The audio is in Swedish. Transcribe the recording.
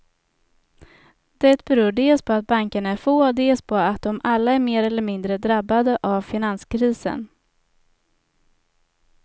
Det beror dels på att bankerna är få, dels på att de alla är mer eller mindre drabbade av finanskrisen.